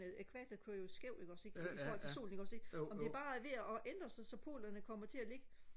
ækvator kører jo skævt ikke også ikke i forhold til solen ikke også ikke om det bare er ved at ændre sig så polerne kommer til og ligge